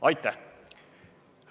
Aitäh!